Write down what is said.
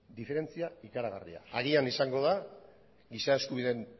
diferentzia ikaragarria agian izango da giza eskubideen